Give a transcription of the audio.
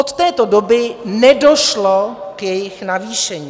Od této doby nedošlo k jejich navýšení.